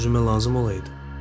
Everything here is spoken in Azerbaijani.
Bəlkə özümə lazım olaydı?